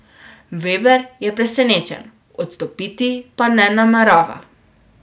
Veber je presenečen, odstopiti pa ne namerava.